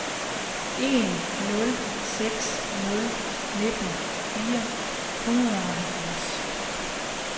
en nul seks nul nitten fire hundrede og halvfjerds